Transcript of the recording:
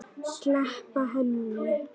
Sleppa henni.